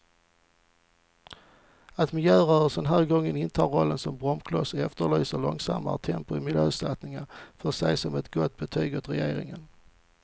Att miljörörelsen den här gången intar rollen som bromskloss och efterlyser långsammare tempo i miljösatsningarna får ses som ett gott betyg åt regeringen.